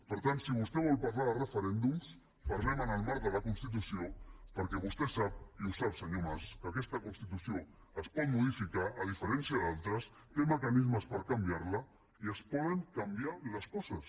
per tant si vostè vol parlar de referèndums parlem ne en el marc de la constitució perquè vostè sap i ho sap senyor mas que aquesta constitució es pot modificar a diferència d’altres té mecanismes per can viarla i es poden canviar les coses